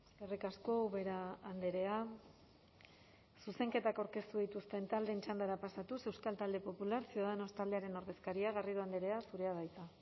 eskerrik asko ubera andrea zuzenketak aurkeztu dituzten taldeen txandara pasatuz euskal talde popular ciudadanos taldearen ordezkaria garrido andrea zurea da hitza